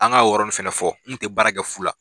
An ka o yɔrɔ nin fɛnɛ fɔ, n tɛ baara kɛ fu la.